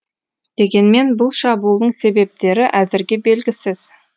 дегенмен бұл шабуылдың себептері әзірге белгісіз